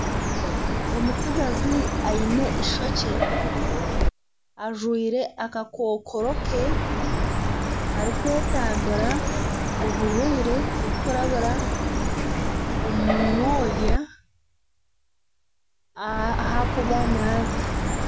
Omutsigazi aine eishokye ajwaire akakokoro ke arikwetambira oburwaire oburikurabira omu mwonya ahakuba naaza.